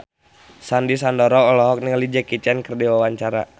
Sandy Sandoro olohok ningali Jackie Chan keur diwawancara